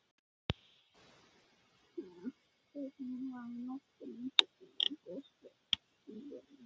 Tekinn var í notkun tilbúinn goshver við Perluna í Reykjavík.